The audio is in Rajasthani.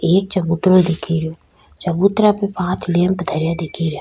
एक चबूतरों दिखे रियो चबूतरा पे पांच लेम्प धरया दिखे रिया।